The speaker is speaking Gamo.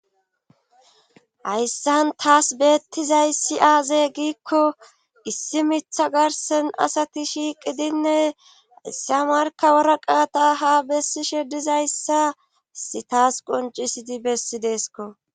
hayssan taas beettizayssi aaze giikko issi mitha garsen asati shiiqidinne issa marka wara qaata ha bessishe dizayssas issi tasi qoncisidi bessidees ko